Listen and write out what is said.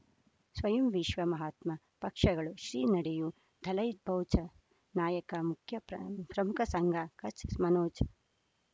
ಸ್ವಯಂ ವಿಶ್ವ ಮಹಾತ್ಮ ಪಕ್ಷಗಳು ಶ್ರೀ ನಡೆಯೂ ದಲೈ ಬೌಚ ನಾಯಕ ಮುಖ್ಯ ಪ್ರ ಪ್ರಮುಖ ಸಂಘ ಕಚ್ ಮನೋಜ್